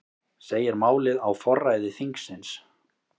Segir málið á forræði þingsins